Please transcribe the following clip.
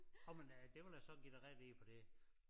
Nåh men øh det vil jeg så give dig ret i for det